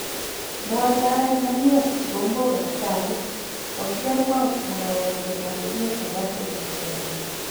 Moaldaen mayeek gigombook ab chaiik, kogiker gong' mugawosiek ab emet ab Afrika cherongo.